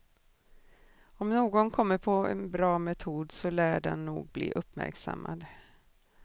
Om någon kommer på en bra metod, så lär den nog bli uppmärksammad.